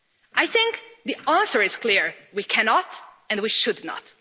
I think the answer is clear we cannot, and we should not.